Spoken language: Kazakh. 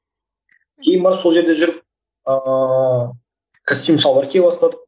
кейін барып сол жерде жүріп ыыы костюм шалбар кие бастадық